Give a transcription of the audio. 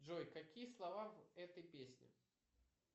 джой какие слова в этой песне